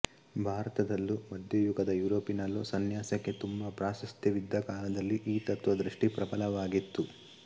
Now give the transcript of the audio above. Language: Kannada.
ಭಾರತದಲ್ಲೂ ಮಧ್ಯಯುಗದ ಯುರೋಪಿನಲ್ಲೂ ಸಂನ್ಯಾಸಕ್ಕೆ ತುಂಬ ಪ್ರಾಶಸ್ತ್ಯವಿದ್ದ ಕಾಲದಲ್ಲಿ ಈ ತತ್ತ್ವದೃಷ್ಟಿ ಪ್ರಬಲವಾಗಿತ್ತು